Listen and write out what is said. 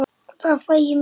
Þar fæ ég mína útrás.